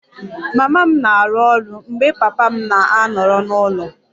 Mama m na-arụ ọrụ mgbe papa m na-anọrọ n'ụlọ